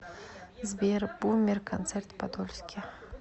сбер бумер концерт в подольске